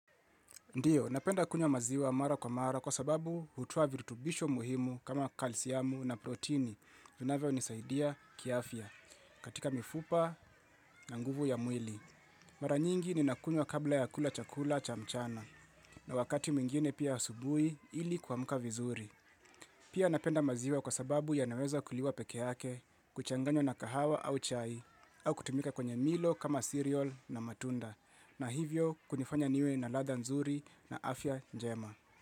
Ndiyo, napenda kunywa maziwa mara kwa mara kwa sababu hutoa virutubisho muhimu kama calcium na proteini vinavyonisaidia kiafya katika mifupa na nguvu ya mwili. Mara nyingi ni nakunywa kabla ya kula chakula cha mchana na wakati mwingine pia asubui ili kuamuka vizuri. Pia napenda maziwa kwa sababu ya naweza kuliwa peke yake kuchanganywa na kahawa au chai au kutumika kwenye milo kama cereal na matunda. Na hivyo kunifanya niwe na ladha nzuri na afya njema.